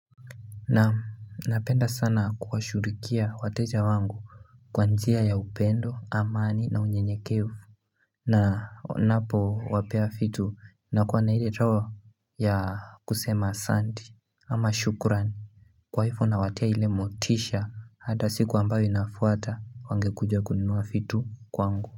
Naam napenda sana kuwashughulikia wateja wangu Kwa njia ya upendo amani na unye nyekevu na ninapo wapea vitu na kuwa na ile trao ya kusema asanti ama shukran Kwa hivyo nawatia ile motisha hata siku ambayo inafuata wangekuja kunua vitu kwangu.